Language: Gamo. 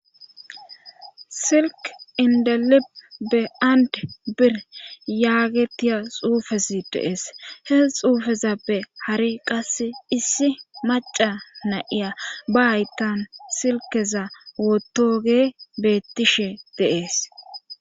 Silk indalip be and bir yaagetiya xuufesi deees he xuufezappe hari qasse issi maca na'iya ba haytan silkeza wotoge bettishe deees